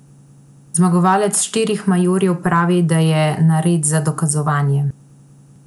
Zmagovalec štirih majorjev pravi, da je nared za dokazovanje.